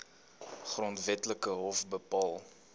grondwetlike hof bepaal